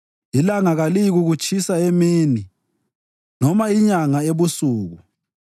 ilanga kaliyikukutshisa emini noma loba inyanga ebusuku.